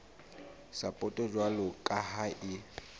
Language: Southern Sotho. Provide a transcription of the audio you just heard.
sapoto jwalo ka ha e